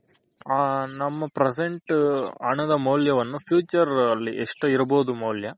ಆ ನಮ್ present ಹಣದ ಮೌಲ್ಯವನ್ನು future ಅಲ್ಲಿ ಎಷ್ಟ್ ಇರ್ಬೋದು ಮೌಲ್ಯ.